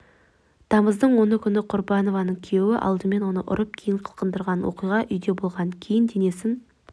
тамыздың оны күні құрбанованың күйеуі алдымен оны ұрып кейін қылқындырған оқиға үйде болған кейін денесін